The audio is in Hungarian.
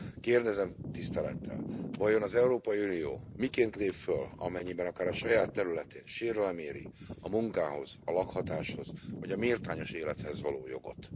Kérdezem tisztelettel, vajon az Európai Unió miként lép föl, amennyiben akár a saját területén sérelem éri a munkához, a lakhatáshoz vagy a méltányos élethez való jogot?